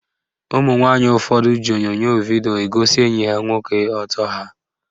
Ụmụnwanyị ụfọdụ ji onyonyo vidio egosi enyi ha nwoke ọtọ ha